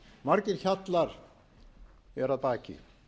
margir hjallar eru að baki